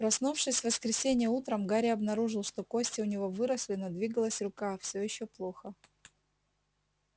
проснувшись в воскресенье утром гарри обнаружил что кости у него выросли но двигалась рука все ещё плохо